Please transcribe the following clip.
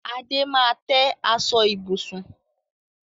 Adé máa tẹ́ aṣọ ibùsùn